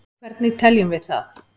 Hvernig teljum við það?